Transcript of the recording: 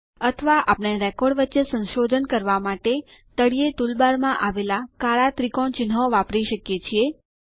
અથવા આપણે રેકોર્ડ વચ્ચે સંશોધન કરવા માટે તળિયે ટૂલબાર માં આવેલા કાળા ત્રિકોણ ચિહ્નો વાપરી શકીએ છીએ